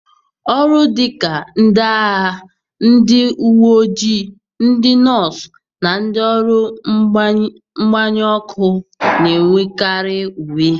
Ọrụ dị ka ndị agha, ndị uwe ojii, ndị nọọsụ, na ndị ọrụ mgbanyụ ọkụ na-enwekarị uwe.